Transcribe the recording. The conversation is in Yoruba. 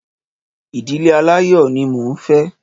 Ìdílé aláyọ̀ ní mo ń fẹ́